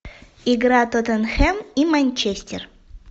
игра тоттенхэм и манчестер